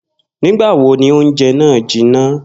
Nígbà wo ni oúnje̩ náà jiná?